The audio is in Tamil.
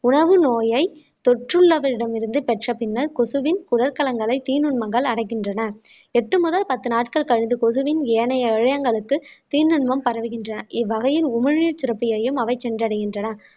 உணவு நோயை தொற்றுள்ளவரிடமிருந்து பெற்ற பின்னர் கொசுவின் குடல் கலன்களை தீ நுண்மங்கள் அடைகின்றன எட்டு முதல் பத்து நாட்கள் கழிந்து கொசுவின் ஏனைய தீநுண்மம் பரவுகின்றன இவ்வகையில் உமிழ்நீர் சுரப்பியையும் அவை சென்றடைகின்றன